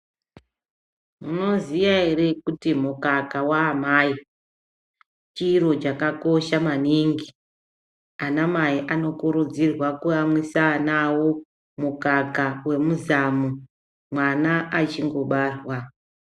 Munoziya ere kuti mukaka waamai chiro chakakosha maningi? Anamai ano kurudzirwa kuamwisa ana awo mukaka wemuzamu mwana achi ngobarwa.